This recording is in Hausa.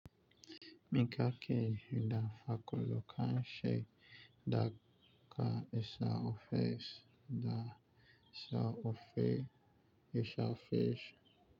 Mika ke da fakolo kan sai da ka isa ofis da sa'o fi ishar fish.